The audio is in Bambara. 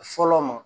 Fɔlɔ ma